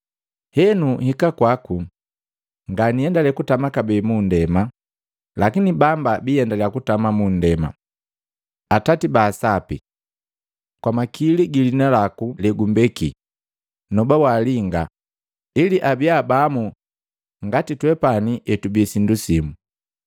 Henu nhika kwaku, nganiendele kutama kabee mundema, lakini bamba biendaliya kutama mundema. Atati baa Sapi! Kwa makili giliina laku legumbeki, noba walinga, ili abia bamu ngati twepani etubi pamu.